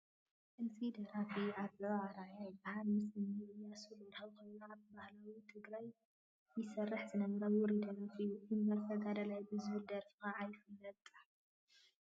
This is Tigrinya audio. እዚ ደራፊ ኣበበ ኣርኣያ ይበሃል፡፡ ምስ እኒ ኢያሱ በርሀ ኮይኑ ኣብ ባህሊ ትግራይ ይሰርሕ ዝነበረ ውሩይ ደራፊ እዩ፡፡ እምበር ተጋዳላይ ብዝብል ደርፉ ከዓ ይፍለጥ፡፡